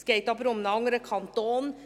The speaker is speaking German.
Es geht aber um einen anderen Kanton.